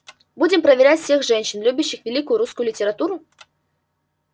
будем проверять всех женщин любящих великую русскую литературу